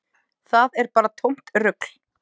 Það er bara tómt rugl.